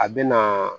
A bɛ na